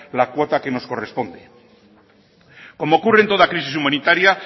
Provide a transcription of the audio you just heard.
la cuota que nos corresponde como ocurre en toda crisis humanitaria